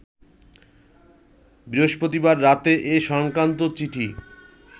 বৃহস্পতিবার রাতে এ সংক্রান্ত চিঠি